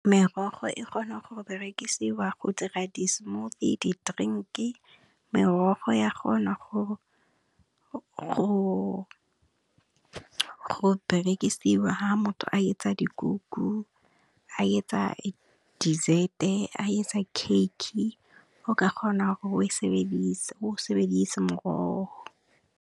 Merogo e kgona go berekisiwa go dira di smoothie, di direnki, merogo ya kgona go berekisiwa ha motho a etsa dikuku, a etsa dessert-e a etsa kheike o ka kgona gore o sebedise morogo.